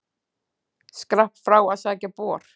Skrapp frá að sækja bor.